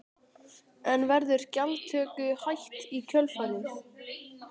En verður gjaldtöku hætt í kjölfarið?